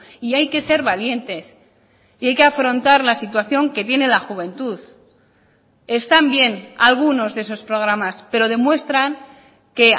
y hay que ser valientes y hay que afrontar la situación que tiene la juventud están bien algunos de esos programas pero demuestran que